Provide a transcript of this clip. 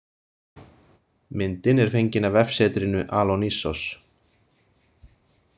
Myndin er fengin af vefsetrinu Alonissos.